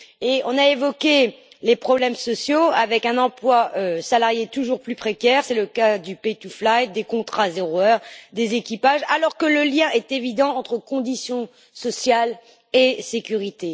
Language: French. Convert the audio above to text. Nous avons évoqué les problèmes sociaux, avec un emploi salarié toujours plus précaire c'est le cas du pay to fly des contrats zéro heure des équipages alors que le lien est évident entre conditions sociales et sécurité.